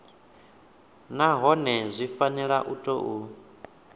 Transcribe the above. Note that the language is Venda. nahone zwi fanela u tou